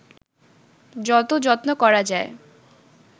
যত যত্ন করা যায়